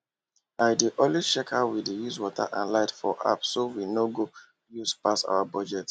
i dey always check how we dey use water and light for appso we no go pass our budget